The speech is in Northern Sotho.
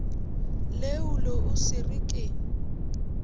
leolo o se re ke